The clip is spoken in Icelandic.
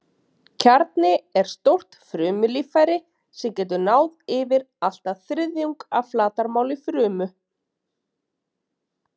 Kjarni er stórt frumulíffæri sem getur náð yfir allt að þriðjung af flatarmáli frumu.